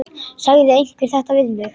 Sagði einhver þetta við mig?